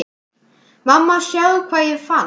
Mamma sjáðu hvað ég fann!